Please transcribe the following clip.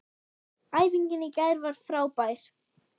Æfingin í gær var frábær.